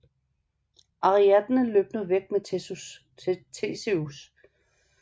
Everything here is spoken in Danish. Ariadne løb nu væk med Theseus